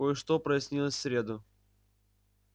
кое-что прояснилось в среду